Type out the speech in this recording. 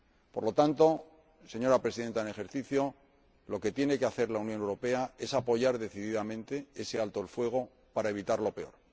Por lo tanto, señora Presidenta en ejercicio del Consejo, lo que tiene que hacer la Unión Europea es apoyar decididamente ese alto el fuego para evitar lo peor.